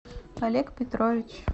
олег петрович